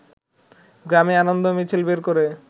গ্রামে আনন্দ মিছিল বের করে